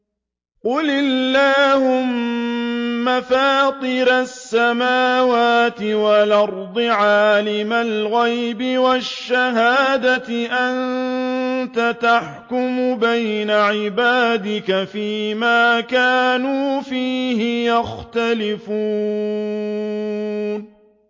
قُلِ اللَّهُمَّ فَاطِرَ السَّمَاوَاتِ وَالْأَرْضِ عَالِمَ الْغَيْبِ وَالشَّهَادَةِ أَنتَ تَحْكُمُ بَيْنَ عِبَادِكَ فِي مَا كَانُوا فِيهِ يَخْتَلِفُونَ